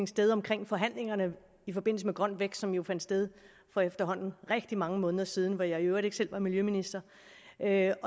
sted omkring forhandlingerne i forbindelse med grøn vækst som jo fandt sted for efterhånden rigtig mange måneder siden hvor jeg i øvrigt ikke selv var miljøminister der